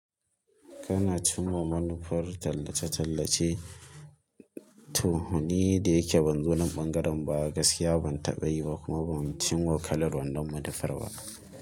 Kana cinwa manufar tallace-tallace, toh ni da yake ban zo nan ɓangaren ba gaskiya ban, taɓa yi ba kuma ban cin ma kalar wannan manufar ba.